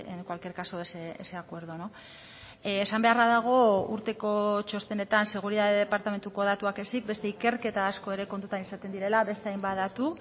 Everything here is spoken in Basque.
en cualquier caso ese acuerdo esan beharra dago urteko txostenetan seguritate departamentuko datuak ezik beste ikerketa asko ere kontutan izaten direla beste hainbat datu